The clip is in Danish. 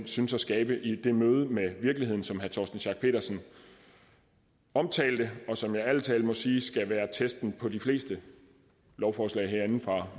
synes at skabe i det møde med virkeligheden som herre torsten schack pedersen omtalte og som jeg ærlig talt må sige skulle være testen på de fleste lovforslag herindefra